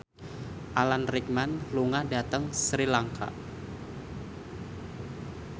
Alan Rickman lunga dhateng Sri Lanka